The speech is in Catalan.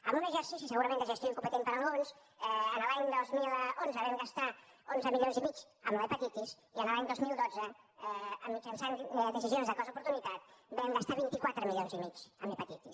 amb un exercici segurament de gestió incompetent per alguns l’any dos mil onze vam gastar onze milions i mig amb l’hepatitis i l’any dos mil dotze mitjançant decisions de costoportunitat vam gastar vint quatre milions i mig en hepatitis